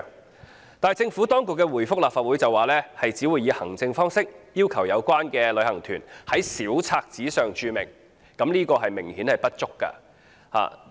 可是，政府當局卻回覆立法會，指只會以行政方式，要求有關旅行團在小冊子上註明，此舉明顯不足夠。